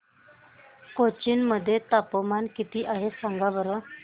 कोचीन मध्ये तापमान किती आहे सांगा बरं